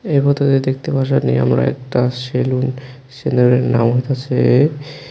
এই ফটোতে দেখতে পাইতাছি আমরা একটি সেলুন সেলুনের নাম হইতাছে--